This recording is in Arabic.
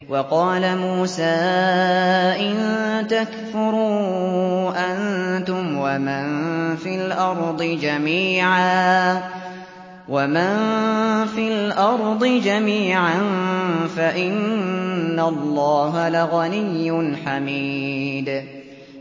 وَقَالَ مُوسَىٰ إِن تَكْفُرُوا أَنتُمْ وَمَن فِي الْأَرْضِ جَمِيعًا فَإِنَّ اللَّهَ لَغَنِيٌّ حَمِيدٌ